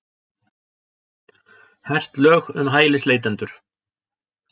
Hert lög um hælisleitendur